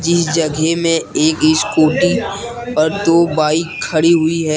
इस जगह में एक स्कूटी और दो बाइक खड़ी हुई है।